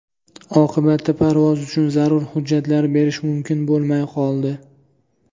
Oqibatda parvoz uchun zarur hujjatlar berish mumkin bo‘lmay qoldi.